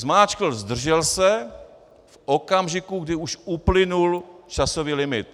Zmáčkl "zdržel se" v okamžiku, kdy už uplynul časový limit.